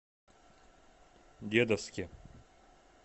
дедовске